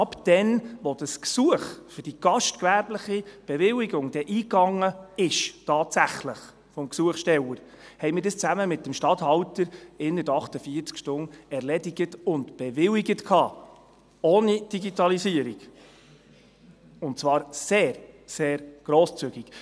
Von dem Moment an, wo das Gesuch des Gesuchstellers um eine gastgewerbliche Bewilligung tatsächlich eingegangen ist, haben wir dieses zusammen mit dem Stadthalter innert 48 Stunden erledigt und bewilligt, ohne Digitalisierung, und zwar sehr, sehr grosszügig!